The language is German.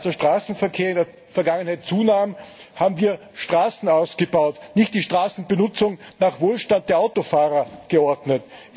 Als der Straßenverkehr in der Vergangenheit zunahm, haben wir Straßen ausgebaut, nicht die Straßenbenutzung nach Wohlstand der Autofahrer geordnet.